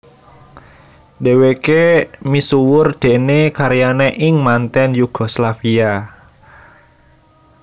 Dhèwèké misuwur déné karyané ing manten Yugoslavia